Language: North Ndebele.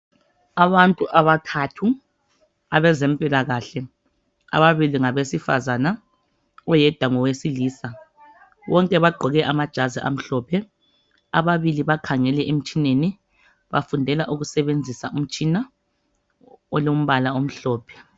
Abantu abathathu abezempilakahle ababili ngabesifazana oyedwa ngowesilisa bonke bagqoke amajazi amhlophe ababili bakhanyele emtshineni bafundela ukusebenzisa umtshina olombala omhlophe.